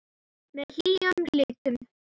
Með hlýjum litum.